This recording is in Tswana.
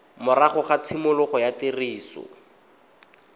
morago ga tshimologo ya tiriso